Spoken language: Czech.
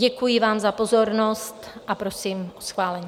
Děkuji vám za pozornost a prosím o schválení.